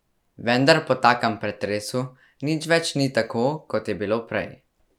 Vendar po takem pretresu nič več ni tako, kot je bilo prej.